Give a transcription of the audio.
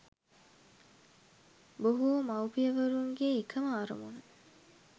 බොහෝ මවුපියවරුන්ගේ එකම අරමුණ